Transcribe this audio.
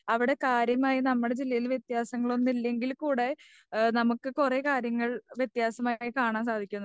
അവിടെ കാര്യമായ നമ്മുടെ ജില്ലയിൽ വത്യാസങ്ങളൊന്നുമില്ലകിൽ കൂടെ. നമുക്ക് കുറെ കാര്യങ്ങൾ വത്യാസമായി കാണാൻ സാധിക്കുണ്ട്.